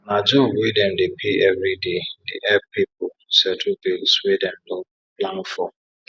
na job wey dem dey pay everi day dey epp pipu settle bills wey dem no plan for